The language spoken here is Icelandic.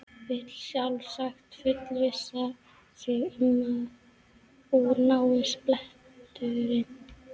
Vill sjálfsagt fullvissa sig um að úr náist bletturinn.